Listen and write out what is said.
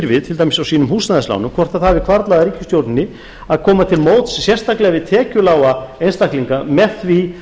við til dæmis á sínum húsnæðismálum hvort það hafi hvarflað að ríkisstjórninni að koma til móts við sérstaklega tekjulága einstaklinga með því